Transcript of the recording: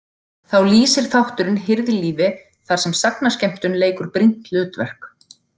Þá lýsir þátturinn hirðlífi þar sem sagnaskemmtun leikur brýnt hlutverk.